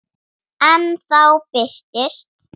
En þá birtist